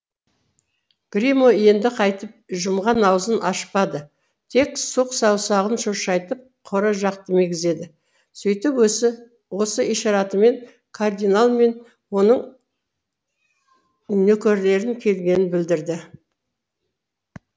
гримо енді қайтіп жұмған аузын ашпады тек сұқ саусағын шошайтып қора жақты мегзеді сөйтіп осы ишаратымен кардинал мен оның нөкерлерінің келгенін білдірді